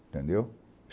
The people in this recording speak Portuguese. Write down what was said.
Entendeu?